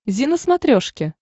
зи на смотрешке